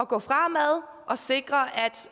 gå fremad og sikre